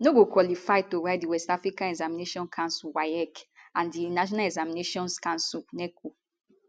no go qualify to write di west african examinations council waec and di national examinations council neco